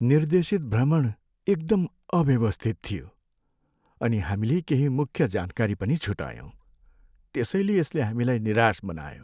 निर्देशित भ्रमण एकदम अव्यवस्थित थियो अनि हामीले केही मुख्य जानकारी पनि छुटायौँ त्यसैले यसले हामीलाई निराश बनायो।